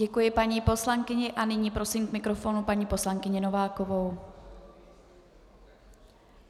Děkuji paní poslankyni a nyní prosím k mikrofonu paní poslankyni Novákovou.